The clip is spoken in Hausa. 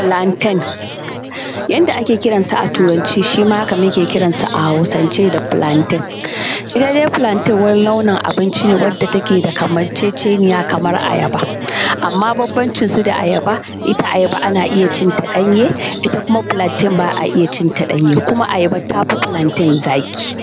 Filanten yanda ake kiransa a turance shi ma haka muke kiransa a Hausance da filanten. Ita dai filanten wani nau’in abinci ne da take da kamanceceniya da kamar ayaba, amma banbancinta da ayaba ita ayaba ana cin ta ɗanye, ita kuma filanten ba a iya cin ta ɗanye; kuma ayaba tafi filanten zaƙi.